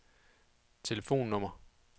telefonnummer